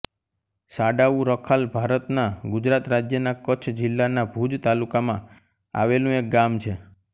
સાડાઉ રખાલ ભારતના ગુજરાત રાજ્યના કચ્છ જિલ્લાના ભુજ તાલુકામાં આવેલું એક ગામ છે